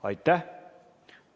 Aitäh!